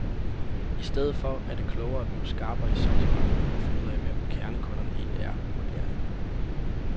I stedet for er det klogere at bliver skarpere i sortimentet og finde ud af, hvem kernekunderne egentlig er, vurderer han.